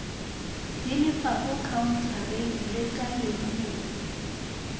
di lefago khaontareng lekaleng lefe